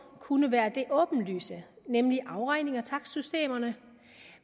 kunne være det åbenlyse nemlig afregning gennem takstsystemerne